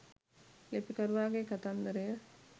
ලිපිකරුවාගේ කතන්දරය